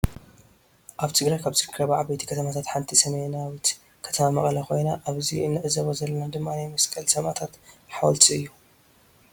አብ ትግራይ ካብ ዝርከባ ዓበይቲ ከተማታት ሓንቲ ሰሜናዊት ከተማ መቀለ ኮይና አብዚ እንዕዘቦ ዘለና ድማ ናይ መቀለ ስማእታት ሓወልቲ እዩ።